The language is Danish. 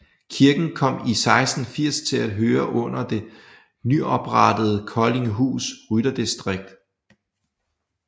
Kirken kom i 1680 til at høre under det nyoprettede Koldinghus rytterdistrikt